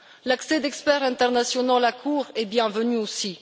L'accès d'experts internationaux à la Cour est bienvenu aussi.